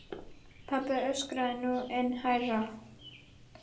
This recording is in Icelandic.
Pabbi öskraði nú enn hærra.